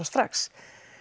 strax